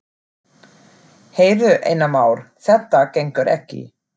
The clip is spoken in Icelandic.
Heyrðu, Einar Már, þetta gengur ekki.